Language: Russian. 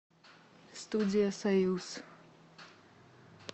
студия союз